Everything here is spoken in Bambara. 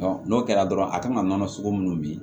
n'o kɛra dɔrɔn a kan ka nɔnɔ sogo minnu min